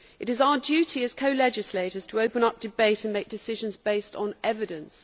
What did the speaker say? It is our duty as co legislators to open up debate and make decisions based on evidence.